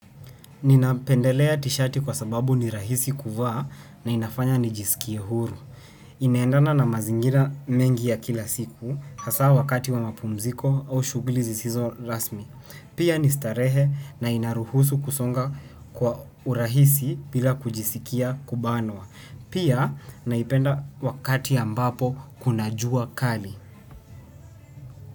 Ninapendelea t-shirti kwa sababu ni rahisi kuvaa na inafanya ni jisikie huru. Inaendana na mazingira mengi ya kila siku hasa wakati wa mapumziko au shughuli zisizo rasmi. Pia ni starehe na inaruhusu kusonga kwa urahisi bila kujisikia kubanwa. Pia naipenda wakati ambapo kuna jua kali.